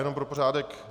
Jenom pro pořádek.